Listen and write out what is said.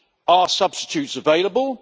Are substitutes available?